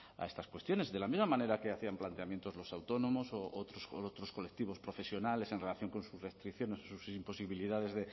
a estas cuestiones de la misma manera que hacían planteamientos los autónomos u otros colectivos profesionales en relación con sus restricciones o sus imposibilidades